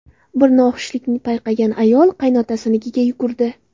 Bir noxushlikni payqagan ayol qaynotasinikiga yugurdi.